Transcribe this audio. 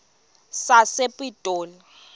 sasepitoli